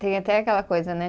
Tem até aquela coisa, né?